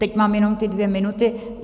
Teď mám jenom ty dvě minuty.